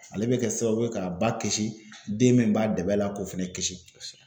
Ale be kɛ sababu ye ka ba kisi den min b'a dɛmɛ la k'o fɛnɛ kisi.